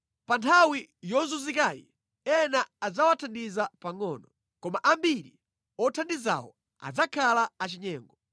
Pa nthawi yozunzikayi ena adzawathandiza pangʼono, koma ambiri othandizawo adzakhala achinyengo.